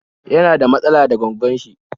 Yana da matsala da gwaggon shi ne?